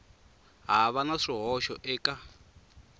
ha va na swihoxo eka